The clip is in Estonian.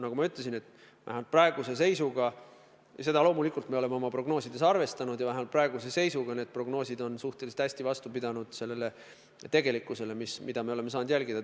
Nagu ma ütlesin, vähemalt praeguse seisuga – ja seda loomulikult me oleme oma prognoosides arvestanud –, aga vähemalt praeguse seisuga vastavad prognoosid suhteliselt hästi tegelikkusele, mida me oleme saanud jälgida.